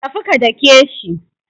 Tafi ka dake shi.